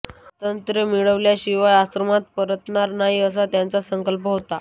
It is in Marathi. स्वातंत्र्य मिळविल्याशिवाय आश्रमात परतणार नाही असा त्यांचा संकल्प होता